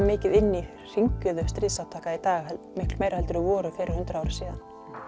mikið inni í hringiðu stríðsátaka í dag miklu meira en þau voru fyrir hundrað árum síðan